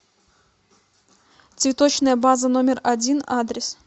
цветочная база номер один адрес